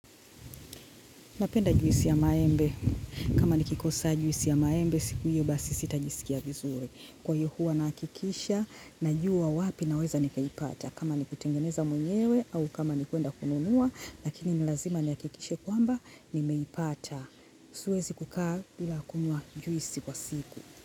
Napenda juisi ya maembe. Kama nikikosa juisi ya maembe, siku hiyo basi sitajisikia vizuri. Kwa hiyo huwa nahakikisha najua wapi naweza nikaipata kama nikutengeneza mwenyewe au kama nikwenda kununua, lakini ni lazima ni hakikishe kwamba, nimeipata. Siwezi kukaa bila kukunywa juisi kwa siku.